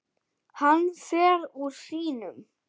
Hann fer úr sínum.